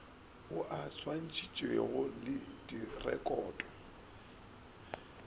ao a swantšhitšwego le direkoto